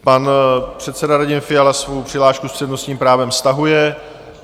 Pan předseda Radim Fiala svou přihlášku s přednostním právem stahuje.